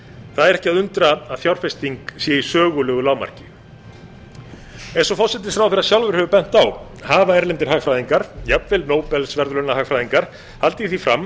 það er ekki að undra að fjárfesting sé i sögulegu lágmarki eins og forsætisráðherra sjálfur hefur bent á hafa erlendir hagfræðingar jafnvel nóbelsverðlaunahagfræðingar haldið því fram